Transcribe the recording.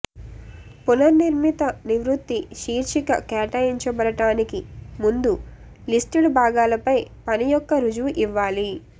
పునర్నిర్మిత నివృత్తి శీర్షిక కేటాయించబడటానికి ముందు లిస్టెడ్ భాగాలపై పని యొక్క రుజువు ఇవ్వాలి